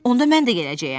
Onda mən də gələcəyəm.